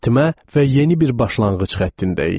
Bitmə və yeni bir başlanğıc xəttindəyik.